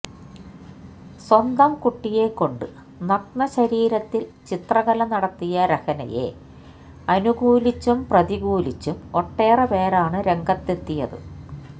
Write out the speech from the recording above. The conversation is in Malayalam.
സ്വന്തം കുട്ടിയെ കൊണ്ട് നഗ്ന ശരീരത്തിൽ ചിത്രകല നടത്തിയ രഹ്നയെ അനുകൂലിച്ചും പ്രതികൂലിച്ചും ഒട്ടേറെ പേരാണ് രംഗത്തെത്തിയത്